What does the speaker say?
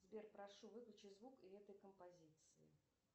сбер прошу выключи звук этой композиции